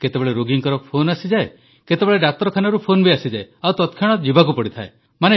କେତେବେଳେ ରୋଗୀଙ୍କର ଫୋନ୍ ଆସିଯାଏ କେତେବେଳେ ଡାକ୍ତରଖାନାରୁ ଫୋନ ଆସିଯାଏ ଆଉ ତତକ୍ଷଣାତ୍ ଯିବାକୁ ପଡ଼ିଥାଏ